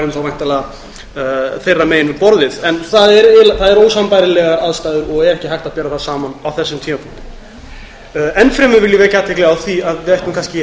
værum þá væntanlega þess megin við borðið það eru ósambærilegar aðstæður og ekki hægt að bera saman á þessum tímapunkti enn fremur vil ég vekja athygli á því að við ættum kannski